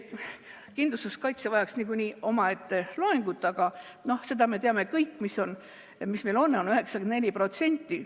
Kindlustuskaitse vajaks niikuinii omaette loengut, aga seda me teame kõik, mis see meil on – 94%.